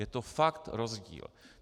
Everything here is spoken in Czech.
Je to fakt rozdíl.